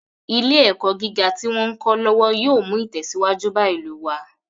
Ilé ẹ̀kọ́ gíga tí wón ń kọ́ lọ́wọ́ yóò mú ìtẹ̀síwájú bá ìlú wá.